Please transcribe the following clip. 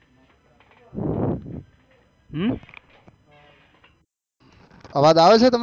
હમ અવાજ આવે છે તમે ને